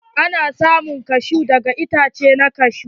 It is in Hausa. Ana samun kashu daga itace na kashu.